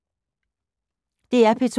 DR P2